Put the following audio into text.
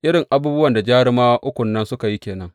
Irin abubuwan da jarumawa ukun nan suka yi ke nan.